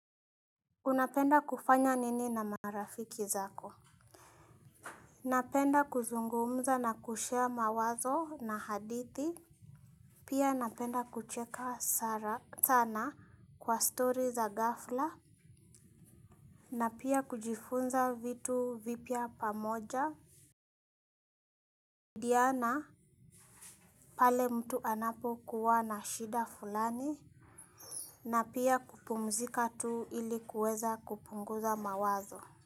Unapenda kufanya nini na marafiki zako napenda kuzungumza na kushea mawazo na hadithi pia napenda kucheka sana kwa story za ghafla na pia kujifunza vitu vipya pamoja diana pale mtu anapo kuwa na shida fulani na pia kupumzika tu ili kuweza kupunguza mawazo Muzika.